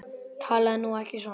Talaðu nú ekki svona!